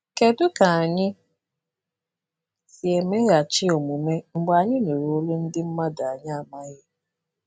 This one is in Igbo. Kedu ka anyị si emeghachi omume mgbe anyị nụrụ olu ndị mmadụ anyị amaghị?